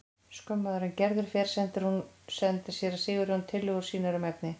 Skömmu áður en Gerður fer sendir séra Sigurjón tillögur sínar um efni.